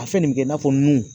A fɛn nin bɛ kɛ i n'a fɔ nun.